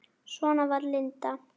Svona var Linda.